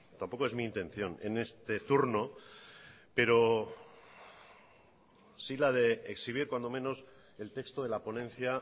tampoco es mi intención en este turno pero sí la de exhibir cuando menos el texto de la ponencia